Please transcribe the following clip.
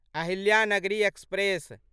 Ahilyanagari express